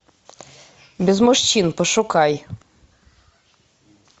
без мужчин пошукай